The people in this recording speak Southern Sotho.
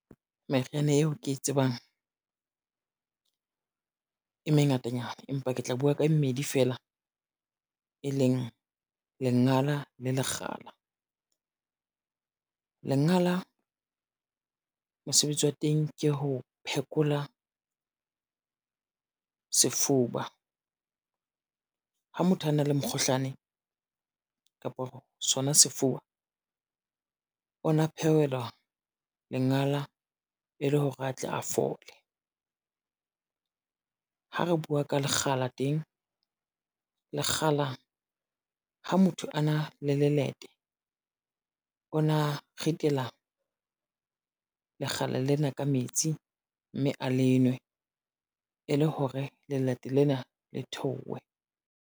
Meriana eo ke e tsebang, e mengatanyana empa ke tla buwa ka mmedi fela, e leng lengala le lekgala. Lengala mosebetsi wa teng ke ho phekola, sefuba ha motho a na le mokgohlane kapa sona sefuba ona phewelwa lengala e le hore a tle a fole. Ha re bua ka lekgala teng, lekgala ha motho a na le lelete ona, ritela lekgala lena ka metsi, mme a le nwe e le hore lelete lena le theohe.